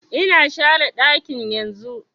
Ina share ɗakin yanzun